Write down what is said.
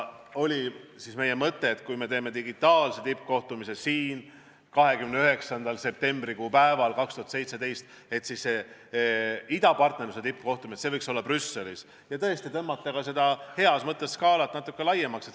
Meie mõte oli, et kui me teeme digitaalse tippkohtumise 29. septembrikuu päeval 2017, siis idapartnerluse tippkohtumine võiks olla Brüsselis ja tõmmata seda heas mõttes skaalat natuke laiemaks.